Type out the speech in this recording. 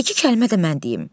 İki kəlmə də mən deyim.